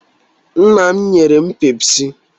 Nna m nyere m pepsị